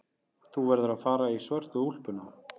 Þú verður að fara í svörtu úlpuna.